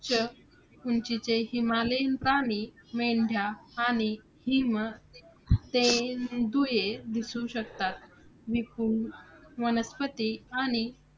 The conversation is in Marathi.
उच्च उंचीचे हिमालयीन प्राणी, मेंढ्या आणि हिमतेंदुयें दिसू शकतात. विपुल वनस्पती आणि